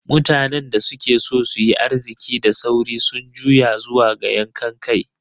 Mutanen da suke so su yi arziki da sauri sun juya zuwa ga yankan kai.